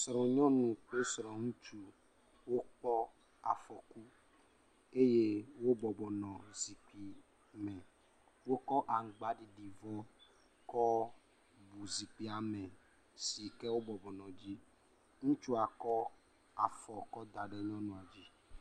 Srɔ̃nyɔnu kple srɔ̃ŋutsu wokpɔ afɔku eye wobɔbɔ nɔ zikpui me. Wokɔ aŋugbaɖiɖi kɔ bu zikpui me sike wo bɔbɔ nɔ edzi, ŋutsua kɔ afɔ kɔ da ɖe nyɔnua dzi.